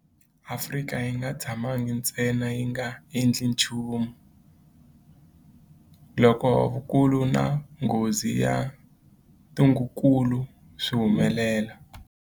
Afrika a yi nga tshamangi ntsena yi nga endli nchumu loko vukulu na nghozi ya ntungukulu swi humelela.